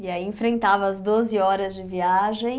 E aí enfrentava as doze horas de viagem.